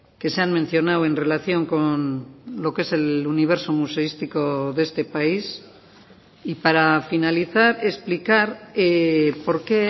que se han mencionado en relación con lo que es el universo museístico de este país y para finalizar explicar por qué